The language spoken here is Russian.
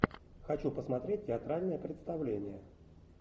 хочу посмотреть театральное представление